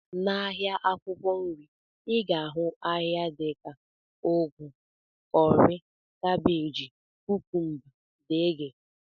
N'ahịa akwụkwọ nri, I ga-ahụ ahịa dị ka ugu, kọrị, kabej, kukumba, tomato, dg